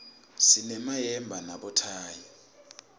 sinemayemba nabothayi